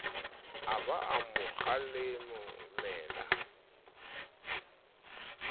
a ba a mo kgalemela